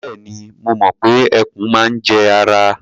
Bẹ́ẹ̀ni, mo mọ̀ pé ẹkùn máa ń jẹ ara.